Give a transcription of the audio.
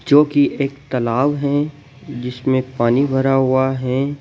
जो कि एक तलाब है जिसमें पानी भरा हुआ है।